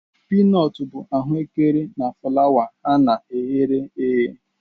Piinotu bu ahuekere na fulawa ha na e ghere eghe